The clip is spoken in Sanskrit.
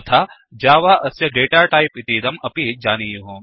तथा जावा अस्य डेटा टायिप् इतीदम् अपि जानीयुः